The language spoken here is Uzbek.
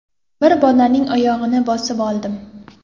Bir bolaning oyog‘ini bosib oldim.